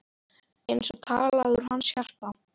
Eins og talað úr hans hjarta.